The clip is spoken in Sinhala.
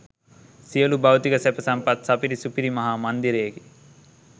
සියලු භෞතික සැප සම්පත් සපිරි සුපිරි මහා මන්දිරයකි.